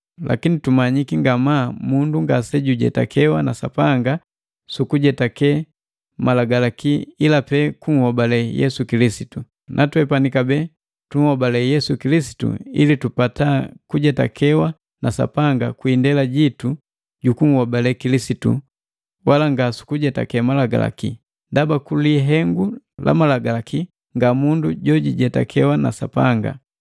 Lakini tumanyiki ngamaa mundu ngase kujetakewa na Sapanga sukujetake Malagalaki ila pe kunhobale Yesu Kilisitu. Na twepani kabee tunhobale Yesu Kilisitu ili tupata kujetakewa na Sapanga kwi indela jitu jukunhobale Kilisitu, wala ngasukujetake Malagalaki, ndaba kulihengu la malagalaki nga mundu jojijetakiwa na Sapanga.